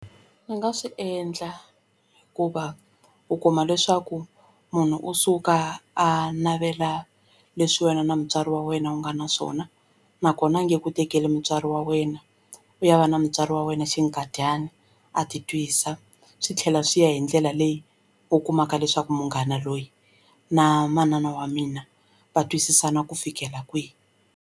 Ni nga swi endla hikuva u kuma leswaku munhu u suka a navela leswi wena na mutswari wa wena u nga na swona nakona a nge ku tekeli mutswari wa wena u ya va na mutswari wa wena xinkadyana a ti twisa swi tlhela swi ya hi ndlela leyi u kumaka leswaku munghana loyi na manana wa mina va twisisana ku fikela kwihi.